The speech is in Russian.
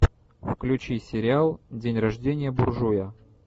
включи сериал день рождения буржуя